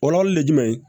Kɔlɔlɔ ye jumɛn ye